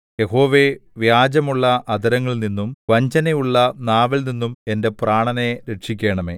യഹോവേ വ്യാജമുള്ള അധരങ്ങളിൽനിന്നും വഞ്ചനയുള്ള നാവിൽനിന്നും എന്റെ പ്രാണനെ രക്ഷിക്കണമേ